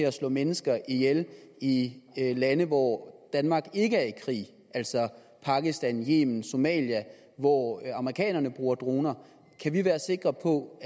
at slå mennesker ihjel i lande hvor danmark ikke er i krig altså pakistan yemen somalia hvor amerikanerne bruger droner kan vi være sikre på